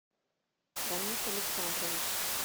рамис александрович